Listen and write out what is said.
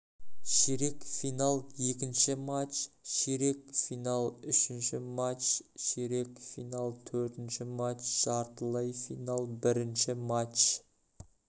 ширек финал екінші матч ширек финал үшінші матч ширек финал төртінші матч жартылай финал бірінші матч